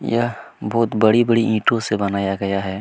यह बहुत बड़ी-बड़ी ईंटो से बनाया गया है।